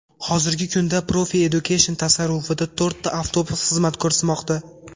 Hozirgi kunda Profi Education tasarrufida to‘rtta avtobus xizmat ko‘rsatmoqda.